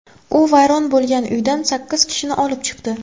U vayron bo‘lgan uydan sakkiz kishini olib chiqdi.